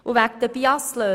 Zu den BIAS-Löhnen.